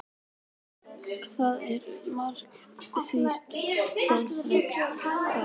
Það var makalaus sýn að sjá hreininn skreyttan svona.